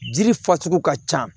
Jiri fasugu ka ca